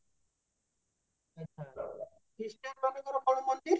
Christian ମାନଙ୍କର କଣ ମନ୍ଦିର